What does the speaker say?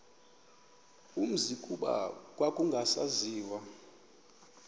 umzi kuba kwakungasaziwa